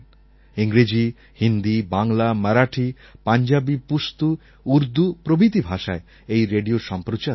ইংরেজি হিন্দি বাংলা মারাঠি পাঞ্জাবী পুস্তু উর্দু প্রভৃতি ভাষায় এই রেডিও সম্প্রচার হত